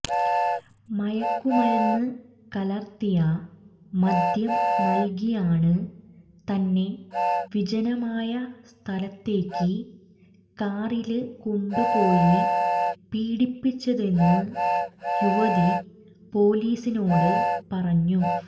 മയക്കുമരുന്ന് കലര്ത്തിയ മദ്യം നല്കിയാണ് തന്നെ വിജനമായ സ്ഥലത്തേക്ക് കാറില് കൊണ്ടുപോയി പീഡിപ്പിച്ചതെന്ന് യുവതി പോലീസിനോട് പറഞ്ഞു